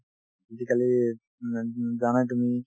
আজিকালি মানে উম জানাই তুমি